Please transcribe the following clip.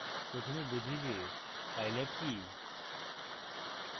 প্রথমে বুঝি যে pylab কি